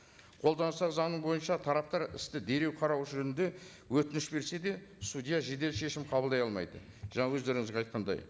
қолданыстағы заңы бойынша тараптар істі дереу қарау жөнінде өтініш берсе де судья жедел шешім қабылдай алмайды жаңа өздеріңізге айтқандай